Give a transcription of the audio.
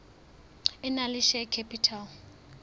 e nang le share capital